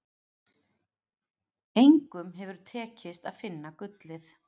Engum hefur tekist að finna gullið.